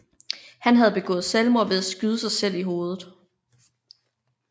Han havde begået selvmord ved at skyde sig selv i hovedet